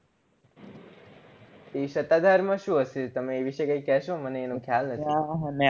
એ સતાધાર માં શું હશે તમે એ વિષે કઈ કેશો મને એનો ખ્યાલ નથી